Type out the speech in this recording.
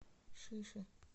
шиши